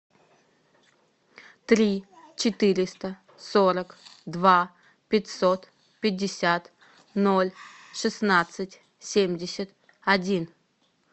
три четыреста сорок два пятьсот пятьдесят ноль шестнадцать семьдесят один